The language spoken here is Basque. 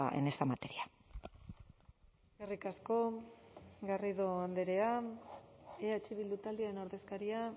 en esta materia eskerrik asko garrido andrea eh bildu taldearen ordezkaria